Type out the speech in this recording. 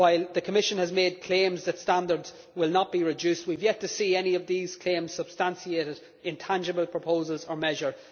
While the Commission has made claims that standards will not be reduced, we have yet to see any of these claims substantiated in tangible proposals or measures.